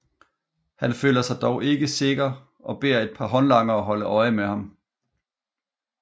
Han føler sig dog ikke sikker og beder et par håndlangere holde øje med ham